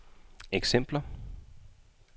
eksempler